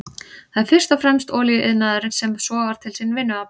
Það er fyrst og fremst olíuiðnaðurinn sem sogar til sín vinnuafl.